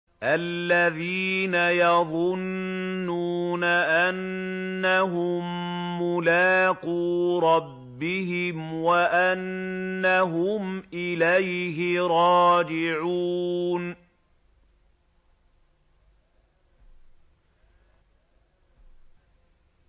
الَّذِينَ يَظُنُّونَ أَنَّهُم مُّلَاقُو رَبِّهِمْ وَأَنَّهُمْ إِلَيْهِ رَاجِعُونَ